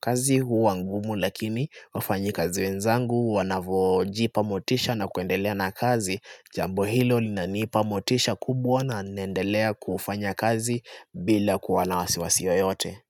kazi huwa ngumu lakini wafanyakazi wenzangu wanavojipa motisha na kuendelea na kazi, Jambo hilo linanipa motisha kubwa na naendelea kufanya kazi bila kuwa na wasiwasi yoyote.